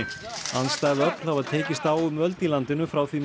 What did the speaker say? andstæð öfl hafa tekist á um völd í landinu frá því